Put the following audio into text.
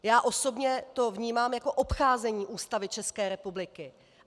Já osobně to vnímám jako obcházení Ústavy České republiky.